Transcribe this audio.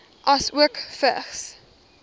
asook vigs